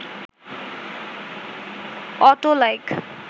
auto like